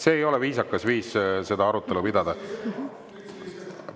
See ei ole viisakas viis arutelu pidada.